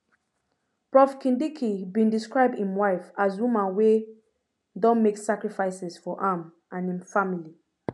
prof kindiki bin describe im wife as woman wey don make sacrifices for am and im family